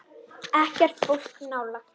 Ekkert fólk nálægt.